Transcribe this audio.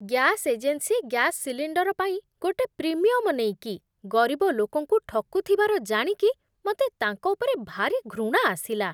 Gas agency gas cylinder ପାଇଁ ଗୋଟେ premium ନେଇକି ଗରିବ ଲୋକଙ୍କୁ ଠକୁଥିବାର ଜାଣିକି ମତେ ତାଙ୍କ ଉପରେ ଭାରି ଘୃଣା ଆସିଲା ।